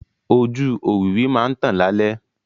Ojú òwìwí máa ń tàn lálẹ́.